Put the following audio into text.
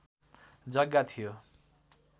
जग्गा थियो